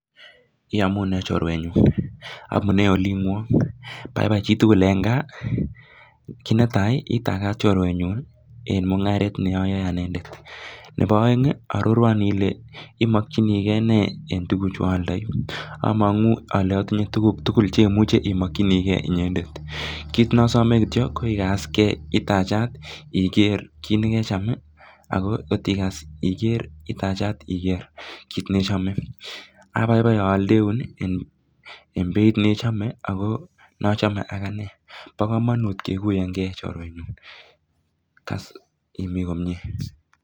Ngele ii oldoindet. Tos igatitei ono olindet?